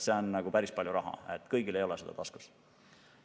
See on päris palju raha, kõigil ei ole seda taskus.